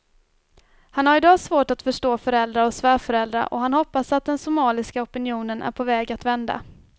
Han har i dag svårt att förstå föräldrar och svärföräldrar och han hoppas att den somaliska opinionen är på väg att vända.